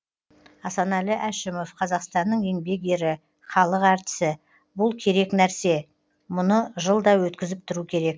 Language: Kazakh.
асанәлі әшімов қазақстанның еңбек ері халық әртісі бұл керек нәрсе мұны жылда өткізіп тұру керек